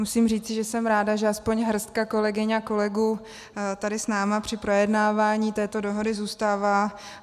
Musím říci, že jsem ráda, že alespoň hrstka kolegyň a kolegů tady s námi při projednávání této dohody zůstává.